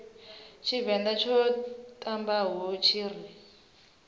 tshivenḓa tsho ṱambaho tshi ri